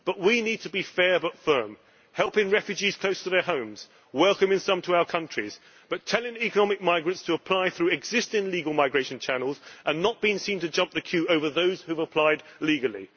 We need to be fair but firm, helping refugees close to their homes, welcoming some to our countries, but telling economic migrants to apply through existing legal migration channels and not being seen to jump the queue over those who have applied legally.